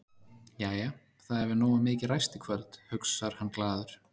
Jæja, það hefur nógu mikið ræst í kvöld, hugsar hann glaður.